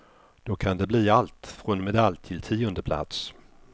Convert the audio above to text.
Då kan det bli allt från medalj till tiondeplats.